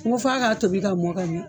N ko f'a k'a tobi ka mɔn ka ɲɛ